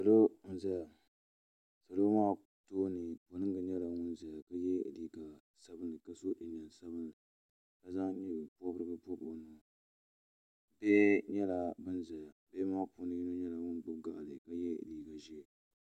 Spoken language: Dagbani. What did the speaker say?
Salo n zaya salo maa tooni piringa nyɛla ŋun zaya ka yɛ liiga sabinli ka so jinjam sabinli ka zaŋ nyɛ pɔbirigu pɔbi o nyee bihi nyɛla bin zaya bihi ŋɔ puuni yini nyɛla ŋun gbubi gaɣali ka yɛ liiga ʒee.